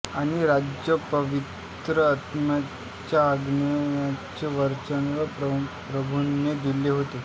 आणि ज्या पवित्र आत्म्याच्या आगमनाचे वचन प्रभूने दिले होते